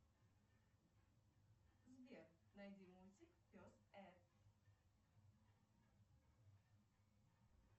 сбер найди мультик пес эд